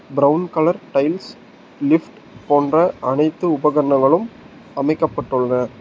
Brown colour tiles lift போன்ற அனைத்து உபகரணங்களும் அமைக்கப்பட்டுள்ளன.